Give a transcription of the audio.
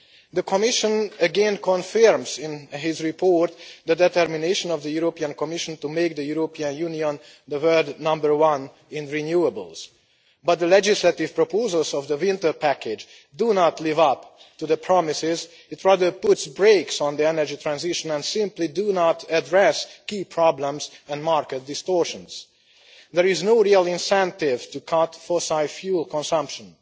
The Commission again confirms in its report the determination of the Commission to make the European Union the world number one in renewables, but the legislative proposals of the winter package do not live up to the promises rather they put brakes on the energy transition and simply do not address key problems and market distortions. There is no real incentive to cut fossil fuel consumption.